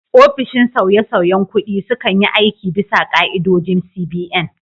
Ofishin sauyesauyen kuɗi sukan yi aiki bisa ka'idodin CBN.